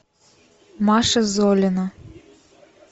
маша золина